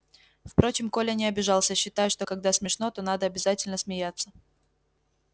впрочем коля не обижался считая что когда смешно то надо обязательно смеяться